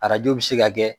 Arajo bɛ se ka kɛ